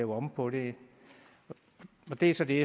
om på det det er så det